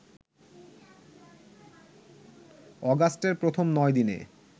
অগাস্টের প্রথম ৯দিনে